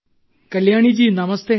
Kalyani ji നമസ്തേ